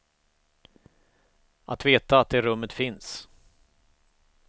Att veta att det rummet finns.